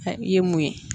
I ye mun ye